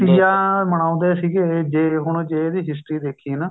ਤੀਆਂ ਮਨਾਉਦੇ ਸੀਗੇ ਜੇ ਹੁਣ ਜੇ ਇਹਦੀ history ਦੇਖੀਏ ਨਾ